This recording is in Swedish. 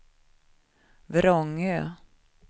Vrångö